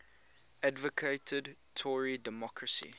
advocated tory democracy